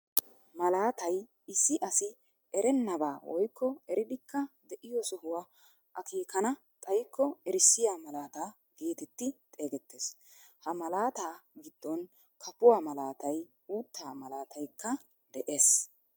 Malaatay issi asi erennabaa woykko eriidikka de'iyoo sohuwaa akeekana xayiko erissiyaa malaataa geetetti xeegettees. Ha malaataa giddon kaafuwaa malaatay uuttaa malaataykka de'ees.